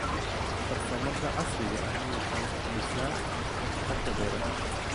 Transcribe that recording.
Farsamada casriga ahi waxay kordhisaa waxtarka beeraha.